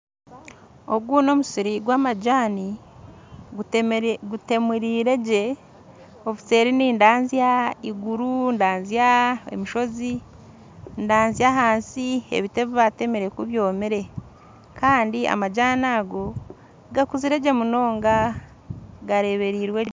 Ogu n'omusiiri gw'amajani gutemurirwegye ebuseeri nindazya iguru ndazya obushoozi ndazya ahansi ebiti ebibatemire kubyomire kandi amajani ago gakuzire gye munonga gareberirwegye